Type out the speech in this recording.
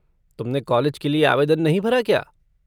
तुमने कॉलेज के लिए आवेदन नहीं भरा क्या?